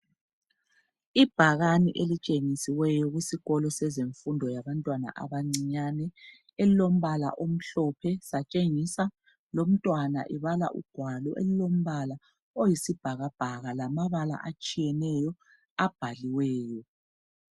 Ibhakani elitshengisiweyo kusikolo sezefundo yabantwana abancinyane elilombala omhlophe, satshengisa lomntwana ebala ugwalo elilombala oyisibhakabhaka lamabala atshiyeneyo abhaliweyo.